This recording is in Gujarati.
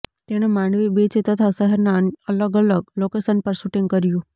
તેણે માંડવી બીચ તથા શહેરના અલગ અલગ લોકેશન પર શુટિંગ કર્યું